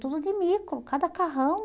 Tudo de micro, cada carrão.